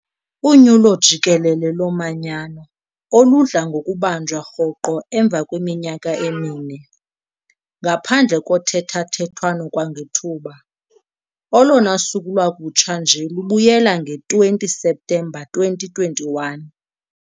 unyulo jikelele lomanyano, oludla ngokubanjwa rhoqo emva kweminyaka emine, ngaphandle kothethathethwano kwangethuba, olona suku lwakutsha nje lubuyela nge-20 Septemba 2021.